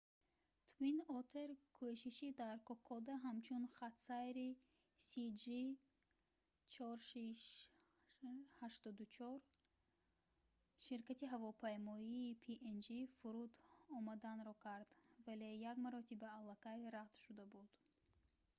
twin otter кӯшиши дар кокода ҳамчун хатсайри cg4684 ширкати ҳавопаймоии png фуруд омаданро кард вале як маротиба алакай рад шуда буд